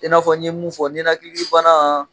N'i fɔ n ɲe mun fɔ, ninakili bana